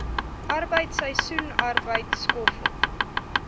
arbeid seisoensarbeid skoffel